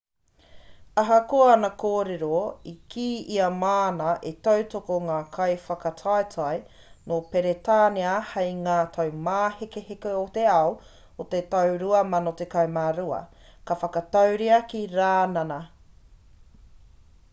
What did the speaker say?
ahakoa ana kōrero i kī ia māna e tautoko ngā kaiwhakataetae nō peretānia hei ngā taumāhekeheke o te ao o te tau 2012 ka whakatūria ki rānana